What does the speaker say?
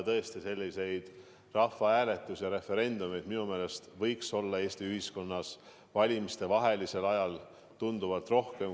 Tõesti, selliseid rahvahääletusi ja referendumeid minu meelest võiks Eesti ühiskonnas valimistevahelisel ajal olla tunduvalt rohkem.